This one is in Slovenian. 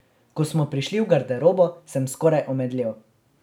Ko smo prišli v garderobo, sem skoraj omedlel.